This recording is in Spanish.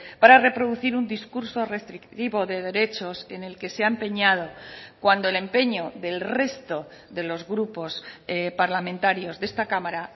para reproducir un discurso restrictivo de derechos en el que se ha empeñado cuando el empeño del resto de los grupos parlamentarios de esta cámara